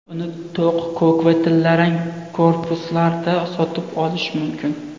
Uni to‘q ko‘k va tillarang korpuslarda sotib olish mumkin.